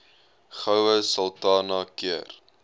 goue sultana keur